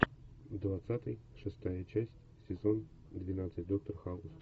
двадцатый шестая часть сезон двенадцать доктор хаус